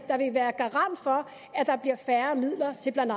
der vil være garant for at der bliver færre midler til blandt